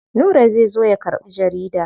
Nura zai zo ya karɓi jarida.